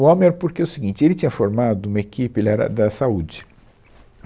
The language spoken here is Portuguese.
O homem era porque o seguinte, ele tinha formado uma equipe, ele era da saúde.